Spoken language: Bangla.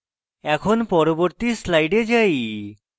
এখন পরবর্তী slide যাই